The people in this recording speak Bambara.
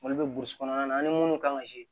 Olu bɛ burusi kɔnɔna na an ni minnu kan ka